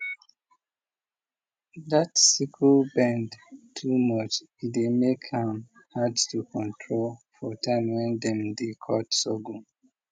dat sickle bend too much e dey make am hard to control for time when dem dey cut sorghum